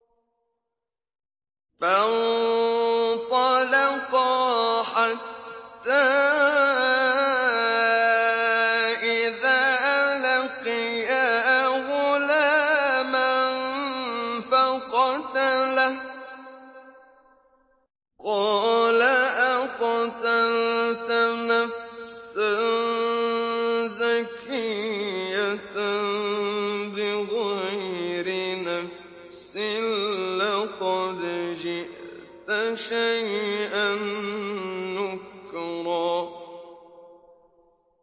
فَانطَلَقَا حَتَّىٰ إِذَا لَقِيَا غُلَامًا فَقَتَلَهُ قَالَ أَقَتَلْتَ نَفْسًا زَكِيَّةً بِغَيْرِ نَفْسٍ لَّقَدْ جِئْتَ شَيْئًا نُّكْرًا